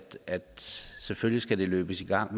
selvfølgelig skal løbes i gang